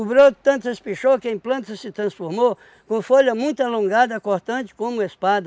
broto tanto espichou que a em planta se transformou com folha muito alongada, cortante como espada.